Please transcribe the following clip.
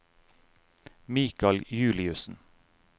Mikal Juliussen